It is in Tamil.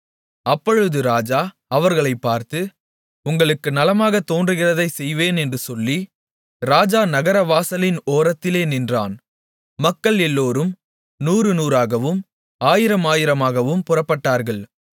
அப்பொழுது ராஜா அவர்களைப் பார்த்து உங்களுக்கு நலமாகத் தோன்றுகிறதைச் செய்வேன் என்று சொல்லி ராஜா நகர வாசலின் ஓரத்திலே நின்றான் மக்கள் எல்லோரும் நூறு நூறாகவும் ஆயிரம் ஆயிரமாகவும் புறப்பட்டார்கள்